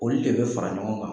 Olu de bɛ fara ɲɔgɔn kan.